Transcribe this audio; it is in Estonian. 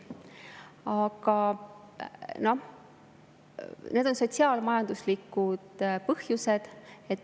Aga need on sotsiaal-majanduslikud põhjused.